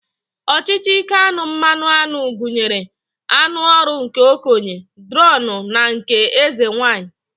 Ọchịchị ike aṅụ mmanụaṅụ gụnyere aṅụ ọrụ nke okenye, dronu na nke eze nwaanyị